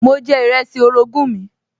Mo jẹ ìrẹsì orogún mi